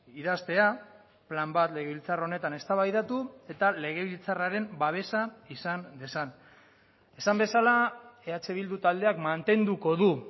idaztea plan bat legebiltzar honetan eztabaidatu eta legebiltzarraren babesa izan dezan esan bezala eh bildu taldeak mantenduko du